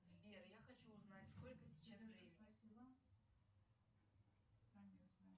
сбер я хочу узнать сколько сейчас времени